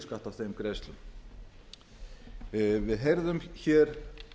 spara í opinberum rekstri við heyrðum hér